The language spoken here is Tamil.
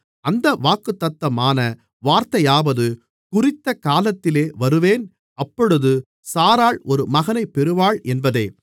அந்த வாக்குத்தத்தமான வார்த்தையாவது குறித்த காலத்திலே வருவேன் அப்பொழுது சாராள் ஒரு மகனைப் பெறுவாள் என்பதே